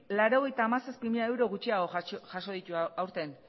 laurogeita hamazazpi mila euro gutxiago jaso ditu aurten